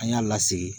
An y'a lasigi